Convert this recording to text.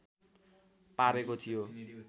पारेको थियो